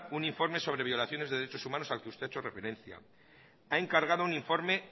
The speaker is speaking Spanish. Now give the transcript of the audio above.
un informe sobre violaciones de derechos humanos al que usted ha hecho referencia ha encargado un informe